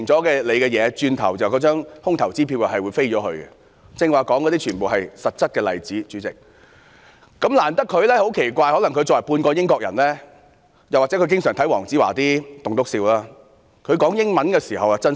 主席，我剛才說的全部也是實質例子，但很奇怪，可能因為她是半個英國人，又或經常看黃子華的"棟篤笑"，她用英語發言時比較真心。